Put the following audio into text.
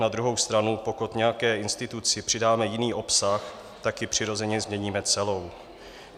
Na druhou stranu pokud nějaké instituci přidáme jiný obsah, tak ji přirozeně změníme celou.